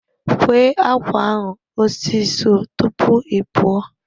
Kwee ákwà ahụ osi so tupu ị pụọ!